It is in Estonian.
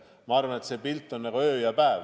Ma arvan, et need pildid on nagu öö ja päev.